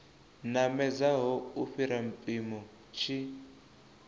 namedzaho u fhira mpimo tshi